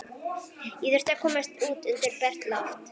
Ég þurfti að komast út undir bert loft.